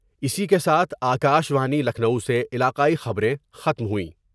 اسی کے ساتھ آ کا شوانی لکھنو سے علاقائی خبریں ختم ہوئیں